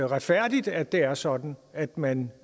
retfærdigt at det er sådan at man